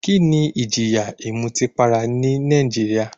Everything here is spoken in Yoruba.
Kíni ìjìyà ìmutípara ní Nàìjíríà?